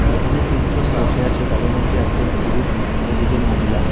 এখানে তিনজন বসে আছে তাদের মধ্যে একজন পুরুষ ও দুজন মহিলা।